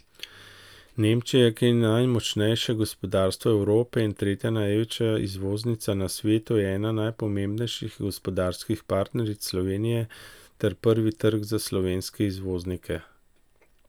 Nemčija, ki je najmočnejše gospodarstvo Evrope in tretja največja izvoznica na svetu, je ena najpomembnejših gospodarskih partneric Slovenije ter prvi trg za slovenske izvoznike.